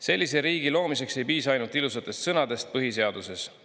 Sellise riigi loomiseks ei piisa ainult ilusatest sõnadest põhiseaduses.